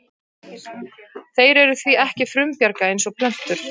Þeir eru því ekki frumbjarga eins og plöntur.